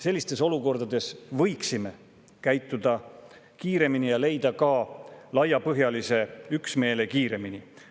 Sellistes olukordades me võiksime kiiremini ja leida ka laiapõhjalise üksmeele kiiremini.